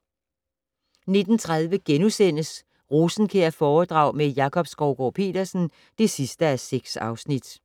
19:30: Rosenkjærforedrag med Jakob Skovgaard-Petersen (6:6)*